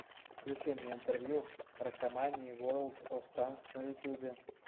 включи мне интервью ракомании ворлд оф танкс на ютубе